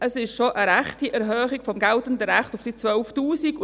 Es ist schon eine rechte Erhöhung des geltenden Rechts auf diese 12 000 Franken.